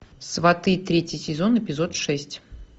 сваты третий сезон эпизод шесть